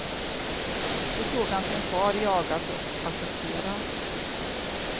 Då såg han sin far jagas och attackeras.